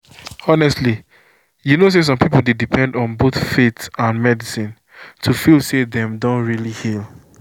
honestly you know say some people dey depend on both faith and medicine to feel say dem don really heal.